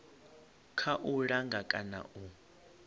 kha u langa kana u